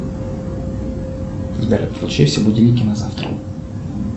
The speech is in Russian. сбер отключи все будильники на завтра